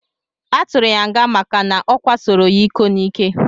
Aturu ya nga maka na okwasoro ya iko nike.